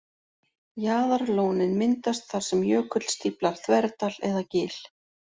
Jaðarlónin myndast þar sem jökull stíflar þverdal eða gil.